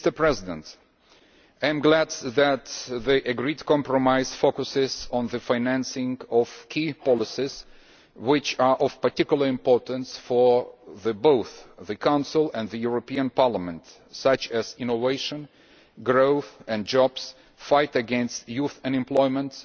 I am glad that the agreed compromise focuses on the financing of key policies which are of particular importance for both the Council and the European Parliament, such as innovation, growth and jobs, the fight against youth unemployment